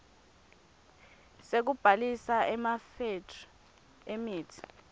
sekubhalisa emafethri emitsi